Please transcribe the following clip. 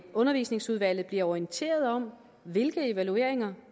og undervisningsudvalget bliver orienteret om hvilke evalueringer